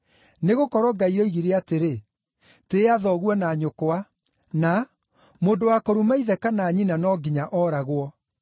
Nĩgũkorwo Ngai oigire atĩrĩ, ‘Tĩĩa thoguo na nyũkwa’ na ‘Mũndũ wa kũruma ithe kana nyina no nginya ooragwo.’